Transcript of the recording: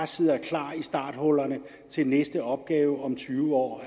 sidde klar i starthullerne til næste opgave om tyve år